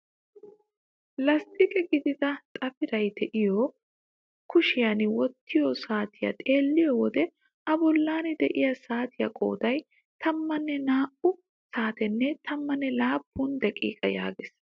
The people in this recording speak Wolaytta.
Lasttiqe gidida xafiray de'iyoo kushiyaan wottiyoo saatiyaa xeelliyoo wode a bollan de'iyaa saatiyaa qooday tammanne naa"u saatenne tammanne laappun daqiiqa yaagees!